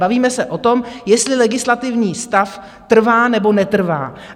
Bavíme se o tom, jestli legislativní stav trvá, nebo netrvá.